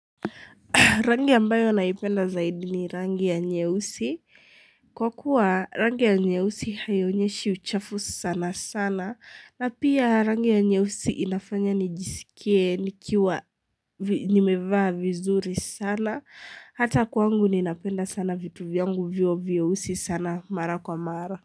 Rangi ambayo naipenda zaidi ni rangi ya nyeusi. Kwa kuwa rangi ya nyeusi haionyeshi uchafu sana sana. Na pia rangi ya nyeusi inafanya nijisikie nikiwa nimevaa vizuri sana. Hata kwangu ninapenda sana vitu vyangu viwe vyeusi sana mara kwa mara.